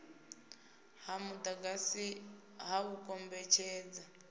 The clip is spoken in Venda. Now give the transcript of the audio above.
ha mudagasi ha u kombetshedza